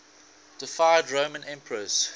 deified roman emperors